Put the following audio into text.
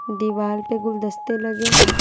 दीवार पे गुलदस्ते लगे हैं।